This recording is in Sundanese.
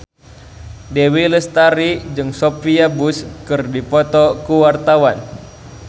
Dewi Lestari jeung Sophia Bush keur dipoto ku wartawan